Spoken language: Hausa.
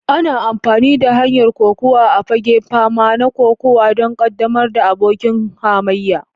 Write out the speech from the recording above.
Ana amfani da hanyar kokuwa a fagen fama na kokuwa don ƙaddamar da abokin hamayya.